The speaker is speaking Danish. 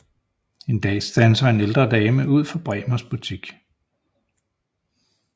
En dag standser en ældre dame ud for Bremers butik